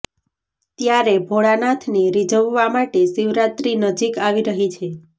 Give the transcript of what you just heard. ત્યારે ભોળાનાથને રિઝવવા માટે શિવરાત્રી નજીક આવી રહી છે